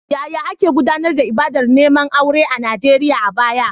Yaya ake gudanar da ibadar neman aure a Najeriya a baya?